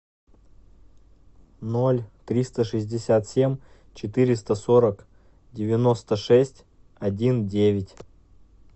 ноль триста шестьдесят семь четыреста сорок девяносто шесть один девять